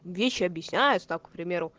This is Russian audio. вещи объясняются так к примеру